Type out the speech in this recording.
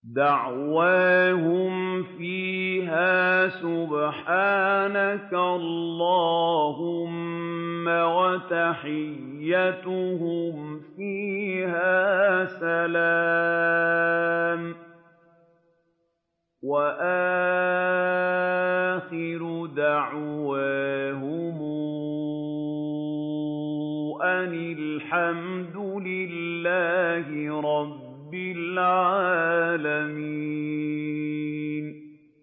دَعْوَاهُمْ فِيهَا سُبْحَانَكَ اللَّهُمَّ وَتَحِيَّتُهُمْ فِيهَا سَلَامٌ ۚ وَآخِرُ دَعْوَاهُمْ أَنِ الْحَمْدُ لِلَّهِ رَبِّ الْعَالَمِينَ